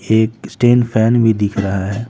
एक stand fan भी दिख रहा है।